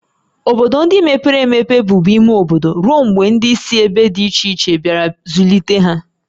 Obodo ndị mepere emepe bụbu ime obodo ruo mgbe ndị si ebe dị iche iche bịara ịzụlite ha